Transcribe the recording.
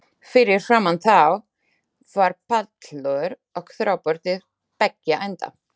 Fyrir framan þá var pallur og tröppur til beggja enda.